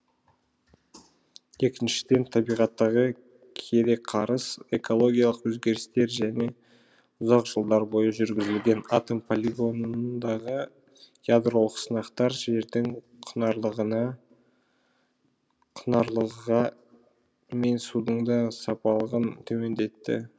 екіншіден табиғаттағы кереқарыс экологиялық өзгерістер және ұзақ жылдар бойы жүргізілген атом полигонындағы ядролық сынақтар жердің құнарлыға мен судың да сапалылығын төмендетті